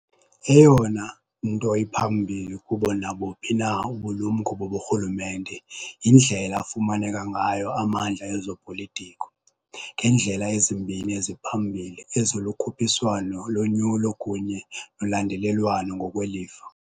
Eyona nto iphambili kubo nabuphi na ubulumko boburhulumente yindlela afumaneka ngayo amandla ezopolitiko, ngendlela ezimbini eziphambili ezilukhuphiswano lonyulo kunye nolandelelwano ngokwelifa.